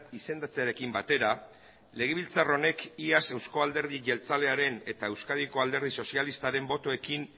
izendatzearekin batera legebiltzar honek iaz euzko alderdi jeltzalearen eta euskadiko alderdi sozialistaren botoekin